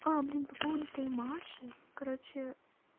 а блин по поводу этой маши короче